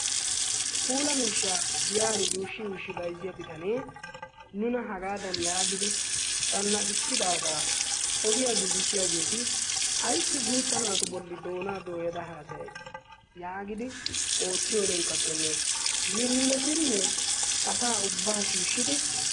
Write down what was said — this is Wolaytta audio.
Puulaa mishshaa giyani yushi yushi bayzzidi deiya bitane nuna hagaadan yaagidi cannaqisidaga ogiyaa gigisiyagetti ayssi gutta naatu bolli doona dooyada haasayay yaagidi oottiyorinkkatene yiillotine asa ubba shiishidi...